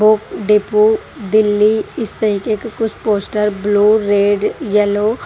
वो डिपो दिल्ली इस तरीके के कुछ पोस्ट ब्लू रेड येलो --